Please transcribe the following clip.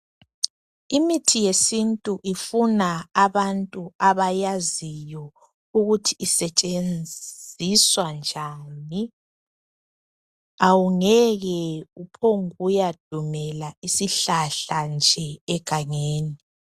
Imithi yesintu ifuna abantu abayaziyo ukuthi isetshenziswa njani , awungeke uphonguya dumela isihlahla nje egangeni.